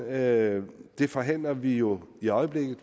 at det forhandler vi jo i øjeblikket